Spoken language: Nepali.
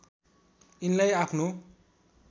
यिनलाई आफ्नो